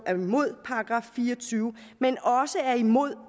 er imod § fire og tyve men også er imod